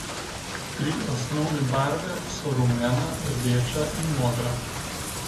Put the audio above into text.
Tri osnovne barve so rumena, rdeča in modra.